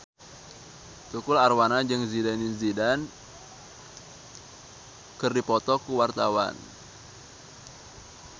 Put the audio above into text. Tukul Arwana jeung Zidane Zidane keur dipoto ku wartawan